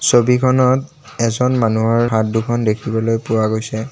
ছবিখনত এজন মানুহৰ হাত দুখন দেখিবলৈ পোৱা গৈছে।